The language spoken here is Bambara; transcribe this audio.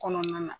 Kɔnɔna na